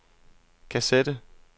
kassette